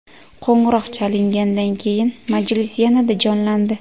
Qo‘ng‘iroq chalingandan keyin majlis yanada jonlandi.